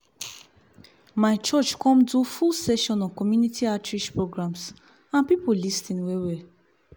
my church come do full session on community outreach programs and people lis ten well well